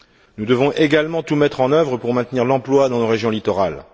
Nous devons également tout mettre en œuvre pour maintenir l'emploi dans les régions littorales.